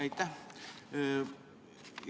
Aitäh!